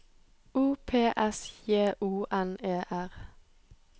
O P S J O N E R